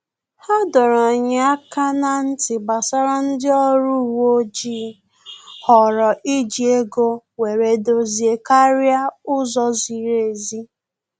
Ha dọrọ anyị aka na-ntị gbasara ndị ọrụ uwe ojii họọrọ iji ego were edozi karịa ụzọ ziri ezi